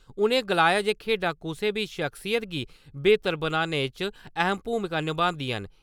उ'नें गलाया जे खेढां कुसै दी शख्सियत गी बेहतर बनाने च अहम भूमिका नभांदियां न।